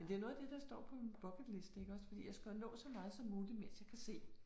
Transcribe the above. Men det jo noget af det der står på min bucket liste iggås fordi jeg skal jo nå så meget som muligt mens jeg kan se